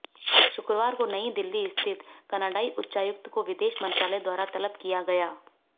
शुक्रवार को नई दिल्ली स्थित कनाडाई उच्चायुक्त को विदेश मंत्रालय द्वारा तलब किया गया